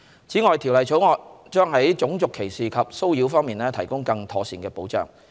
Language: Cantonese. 此外，《條例草案》將在種族歧視及騷擾方面提供更妥善的保障。